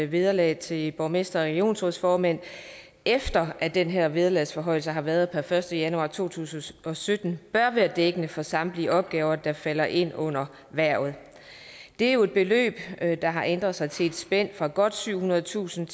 vederlag til borgmestre og regionsrådsformænd efter at den her vederlagsforhøjelse har været per første januar to tusind og sytten bør være dækkende for samtlige opgaver der falder ind under hvervet det er jo et beløb der har ændret sig til et spænd fra godt syvhundredetusind